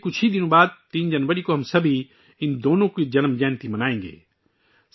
اب سے چند دن بعد یعنی 3 جنوری کو ہم سب دونوں کی یوم پیدائش منائیں گے